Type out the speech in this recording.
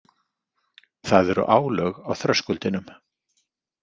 Það eru álög á þröskuldinum.